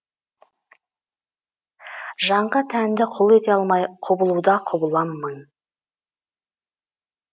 жанға тәнді құл ете алмай құбылуда құбылам мың